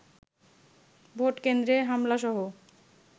vote কেন্দ্রে হামলাসহ